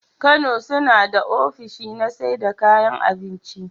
Kano sunada ofishi na saida kayan abinki